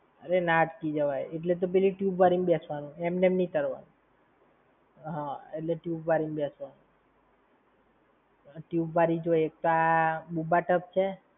અરે ના અટકી જવાય. એટલે જ તો પેલી tube વળી માં બેસવાનું, એટલે ના અટકી જવાય. હમ્મ એટલે tube વળી માં બેસવાનું! tube વળી જો એક તો આ BoobaTub છે.